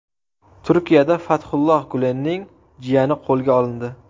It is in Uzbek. Turkiyada Fathulloh Gulenning jiyani qo‘lga olindi.